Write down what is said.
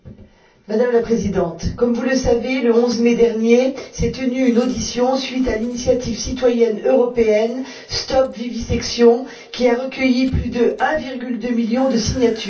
Madame la Présidente, comme vous le savez, le 11 mai dernier s'est tenue une audition, à la suite de l'initiative citoyenne européenne Stop Vivisection, qui a recueilli plus de 1,2 million de signatures.